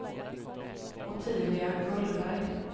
Ottilia Gullberg